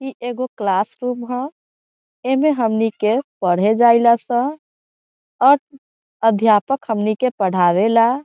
इ एगो classroom ह एमे हमनी के पढ़े जाला सब और अध्यापक हमने के पढ़ावे ला ।